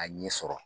A ɲɛ sɔrɔ